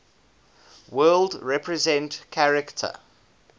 world represent character